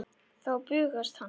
Þá bugast hann.